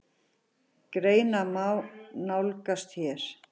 Greinina má nálgast hér.